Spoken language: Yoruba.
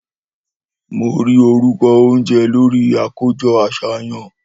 Mó rí órúkõ ounjé lòrí àkójõ àsáyan